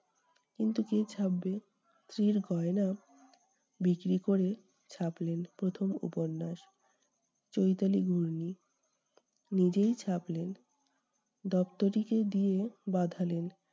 কিন্তু কে ছাপবে? স্ত্রীর গয়না বিক্রি করে চাপলেন প্রথম উপন্যাস চৈতালি ঘূর্ণি। নিজেই ছাপলেন, দপ্তরিকে দিয়ে বাঁধালেন।